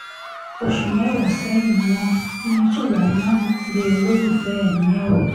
oṣù mẹ́wàá sẹ́yìn ni wọ́n ní sulaiman gbé olólùfẹ́ ẹ̀ níyàwó